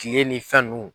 Kile ni fɛn nunnu